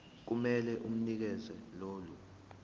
kumele unikeze lolu